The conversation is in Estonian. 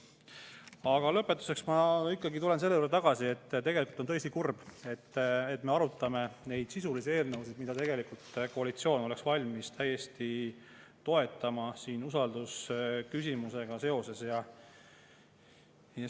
Aga lõpetuseks tulen ikkagi tagasi selle juurde, et on tõesti kurb, et me arutame neid sisulisi eelnõusid, mida oleks valmis täiesti toetama, usaldusküsimusega seoses.